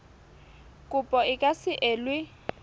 kopo e ka se elwe